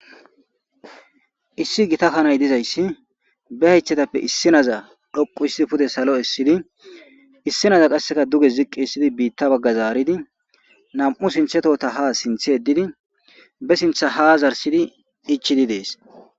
issi gita kanay dizayssi be haythetappe issi naza dhoqu issi pude salo issidi issi naza qasseka duge ziqqi issidi biitta bagga zaaridi nam7u sinthetota ha sinthe edidi be sintha ha zarsidi ichidi dees